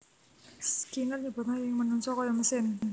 Skinner nyebutna yen manungsa kaya mesin